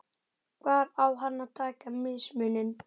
Hvar á hann að taka mismuninn?